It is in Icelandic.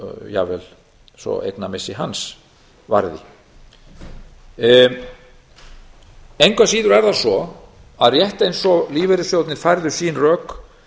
jafnvel svo eignamissi hans varði engu að síður er það svo að rétt eins og lífeyrissjóðirnir færðu sín rök